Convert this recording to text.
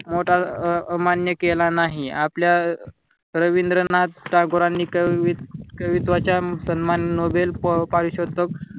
मोठा अमान्य केला नाही आपल्या रवींद्रनाथ टागोरांनी कवी कवित्वाचा सन्मान नोबल परिशोतक